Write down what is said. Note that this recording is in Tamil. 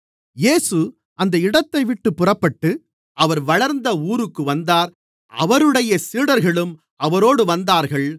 இயேசு அந்த இடத்தைவிட்டுப் புறப்பட்டு அவர் வளர்ந்த ஊருக்கு வந்தார் அவருடைய சீடர்களும் அவரோடு வந்தார்கள்